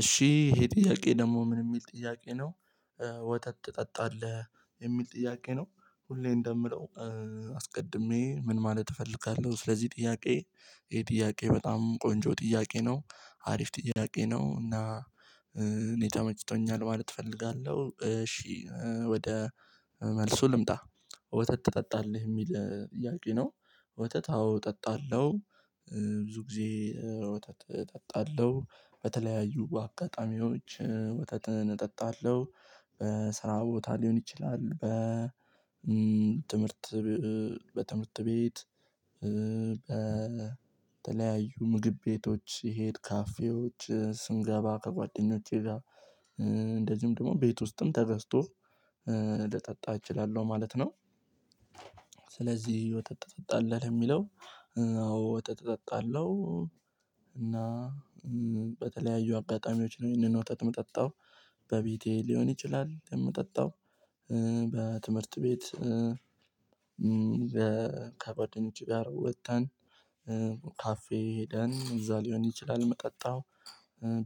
እሺ ይሄ ጥያቄ ደግሞ ምን የሚል ጥያቄ ነው። ወተት ትጠጣለህ የሚል ጥያቄ ነው። ሁሌ እንደምለው አስቀድሜ ምን ማለት እፈልጋለሁ። ስለዚህ ጥያቄ ይሄ ጥያቄ በጣም ቆንጆ ጥያቄ ነው። አሪፍ ጥያቄ ነው እና እኔ ተመችቶኛል ማለት እፈልጋለሁ። እሺ ወደ መልሱ ልምጣ ወተት ትጠጣለህ የሚል ጥያቄ ነው። ወተት አዎ እጠጣለሁ። ብዙ ጊዜ ወተት እጠጣለሁ በተለያዩ በአጋጣሚዎች ወተት እጠጣለሁ። በስራ ቦታ ሊሆን ይችላል። ትምህርት በትምህርት ቤት በተለያዩ ምግብ ቤቶች ስሄድ ካፌዎች ስንገባ ከጓደኞቼ ጋር። እንደዚሁም ደግሞ ቤት ውስጥም ተገዝቶ ልጠጣ እችላለሁ ማለት ነው። ስለዚህ ወተት ትጠጣለህ የሚለው አዎ ወተት እጠጣለሁ። እና በተለያዩ አጋጣሚዎች ነው ይሄንን ይህንን ወተት ምጠጣው በቤቴ ሊሆን ይችላል የምጠጣው። በትምህርት ቤት ከጓደኞች ጋር ወጥተን ካፌ ሄደን እዛ ሊሆን ይችላል መጠጣው።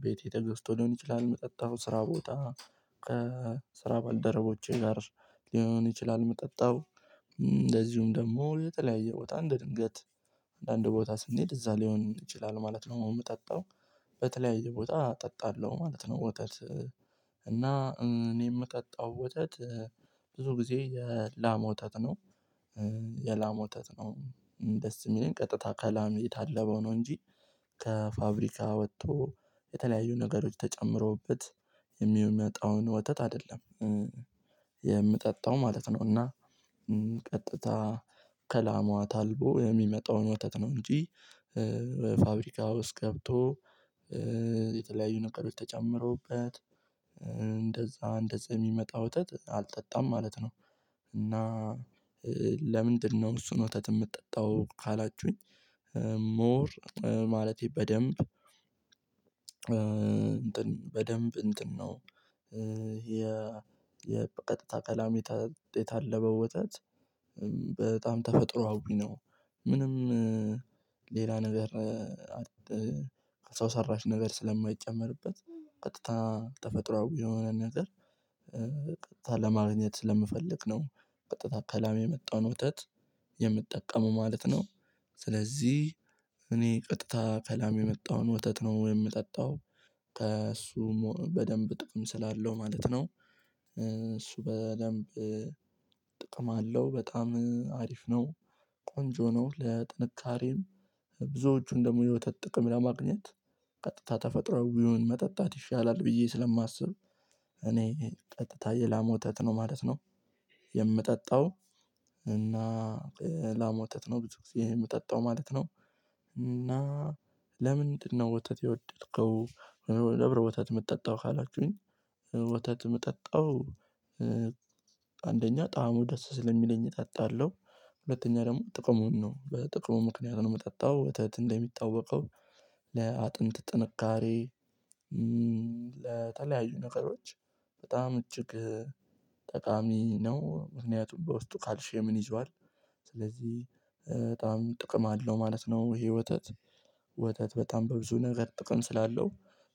ቤቴ ተገስቶ ሊሆን ይችላል ምጠጣው ስራ ቦታ ከስራ ባልደረቦቼ ጋር ሊሆን ይችላል የምጠጣው። እንደዚሁም ደግሞ ለተለያየ ቦታ እንደ ድንገት አንዳንድ ቦታ ስንሄድ እዛ ሊሆንም ይችላል ማለት ነው የምጠጣው። በተለያየ ቦታ እጠጣለሁ ማለት ነው። ወተት እና እኔ የምጠጣው ወተት ብዙ ጊዜ የላም ወተት ነው። የላም ወተት ነው። ደስ የሚለኝ ቀጥታ ከላም የታለበው ነው እንጂ ከፋብሪካ ወጥቶ የተለያዩ ነገሮች ተጨምሮበት የሚመጣውን ወተት አይደለም። የምጠጣው ማለት ነው። እና ቀጥታ ከላማዋ ታልቦ የሚመጣውን ወተት ነው። እንጂ ፋብሪካ ውስጥ ገብቶ የተለያዩ ነገሮች ትጨምረውበት እንደዛ እንደዛ የሚመጣ ወተት አልጠጣም ማለት ነው። እና ለምንድነው እሱን ወተት የምትጠጣው? ካላችሁኝ ሞር ማለቴ በደንብ በደንብ እንትን ነው። ይሄ የቀጥታ ከላም የታለበው ወተት በጣም ተፈጥሮአዊ ነው። ምንም ሌላ ነገር ሰው ሰራሽ ነገር ስለማይጨመርበት ቀጥታ ተፈጥሮአዊ የሆነ ነገር ቀጥታ ለማግኘት ስለምፈልግ ነው። ቀጥታ ከላም የመጣውን ወተት የምጠቀመው ማለት ነው። ስለዚህ እኔ ቀጥታ ከላም የመጣውን ወተት ነው የምጠጣው። ከእሱ በደንብ ጥቅም ስላለው ማለት ነው። እሱ በደንብ ጥቅም አለው በጣም አሪፍ ነው። ቆንጆ ነው ለጥንቃቄም ብዙዎቹን ደግሞ የወተት ጥቅም ለማግኘት ቀጥታ ተፈጥሮአዊውን መጠጣት ይሻላል ብዬ ስለማስብ እኔ ቀጥታ የላም ወተት ነው ማለት ነው። የምጠጣው እና የላም ወተት ነው የምጠጣው ማለት ነው። እና ለምንድነው ወተት የወደድከው? ወተት የምትጠጣው ካላችሁኝ ወተት የምጠጣው አንደኛ ጣዕሙ ደስ ስለሚለኝ እጠጣለሁ። ሁለተኛ ደግሞ ጥቅሙን ነው በጥቅሙ ምክንያት ነው የምጠጣው። ወተት እንደሚታወቀው ለአጥንት ጥንካሬ ለተለያዩ ነገሮች በጣም እጅግ ጠቃሚ ነው ምክንያቱም በውስጡ ካልሽየምን ይዟል። ስለዚህ በጣም ጥቅም አለው ማለት ነው። ይሄ ወተት ወተት በጣም በብዙ ነገር ጥቅም ስላለው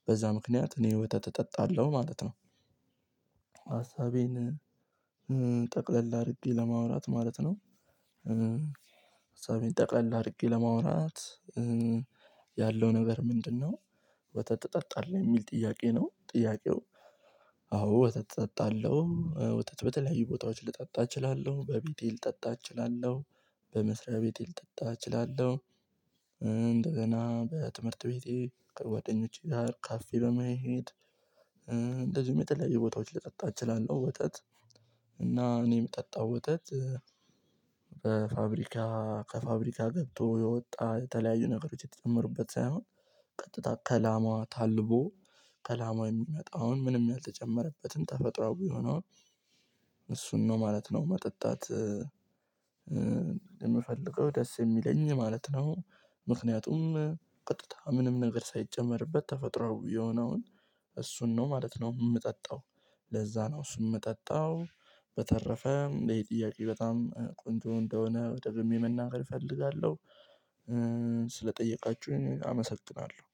በዛ ምክንያት እኔ ወተት እጠጣለሁ ማለት ነው። ሀሳቤን ጠቅለል አድርጌ ለማውራት ማለት ነው። ሃሳቤን ጠቅለል አድርጌ ለማውራት ያለው ነገር ምንድነው? ወተት ትጠጣለህ የሚል ጥያቄ ነው። ጥያቄው አዎ ወተት እጠጣለሁ። ወተት በተለያዩ ቦታዎችን ልጠጣ እችላለሁ በቤቴ ልጠጣ እችላለሁ። በመስሪያ ቤቴ ልጠጣ እችላለሁ። እንደገና በትምህርት ቤቴ ከጓደኞቼ ጋር ካፌ በመሄድ እንደዚሁም የተለያየ ቦታዎች ልጠጣ እችላለሁ ወተት። እና እኔም ምጠጣው ወተት በፋብሪካ ከፋብሪካ ገብቶ የወጣ የተለያዩ ነገሮች የተጨመሩበት ሳይሆን። ቀጥታ ከላማዋ ታልቦ ከላሟ የሚመጣው አሁን ምንም ያልተጨመረበትን ተፈጥሮ የሆነው። እሱን ነው ማለት ነው። መጠጣት የምፈልገው ደስ የሚለኝ ማለት ነው። ምክንያቱም ቅጥታ ምንም ነገር ሳይጨመርበት ተፈጥሮአዊ የሆነውን እሱን ነው ማለት ነው። የምጠጣው ለዛ ነው እሱም የምጠጣው። በተረፈ ይሄ ጥያቄ በጣም ቆንጆ እንደሆነ ደግሜ መናገር እፈልጋለሁ። ስለጠየቃችሁኝ አመሰግናለሁ።